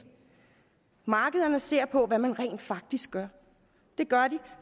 markederne ser på hvad man rent faktisk gør det gør de